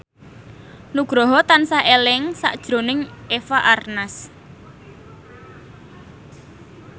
Nugroho tansah eling sakjroning Eva Arnaz